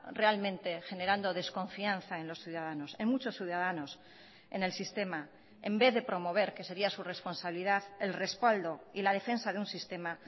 realmente generando desconfianza en los ciudadanos en muchos ciudadanos en el sistema en vez de promover que sería su responsabilidad el respaldo y la defensa de un sistema